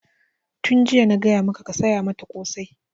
Tun jiya na gaya maka ka saya mata ƙosai!